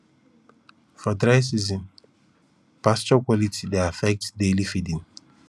for dry seasonspasture quality dey affect daily feeding